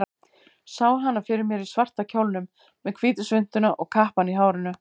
Sá hana fyrir mér í svarta kjólnum, með hvítu svuntuna og kappann í hárinu.